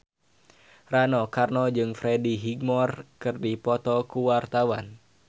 Rano Karno jeung Freddie Highmore keur dipoto ku wartawan